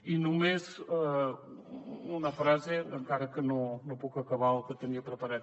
i només una frase encara que no puc acabar el que tenia preparat